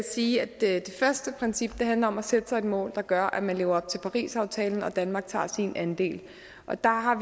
sige at det første princip handler om at sætte sig et mål der gør at man lever op til parisaftalen og at danmark tager sin andel der har